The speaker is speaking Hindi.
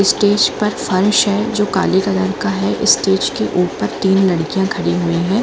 स्टेज पर फर्श है जो काले कलर का है उसे स्टेज पर तीन लड़कियां खड़ी है।